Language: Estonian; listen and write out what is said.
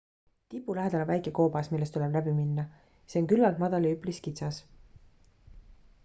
tipu lähedal on väike koobas millest tuleb läib minna see on küllalt madal ja üpris kitsas